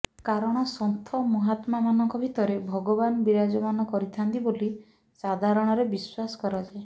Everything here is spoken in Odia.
କାରଣ ସନ୍ଥ ମହାତ୍ମାମାନଙ୍କ ଭିତରେ ଭଗବାନ ବିରାଜମାନ କରିଥାଆନ୍ତି ବୋଲି ସାଧାରଣରେ ବିଶ୍ୱାସ କରାଯାଏ